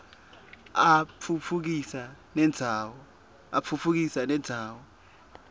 atfutfukisa nendzawo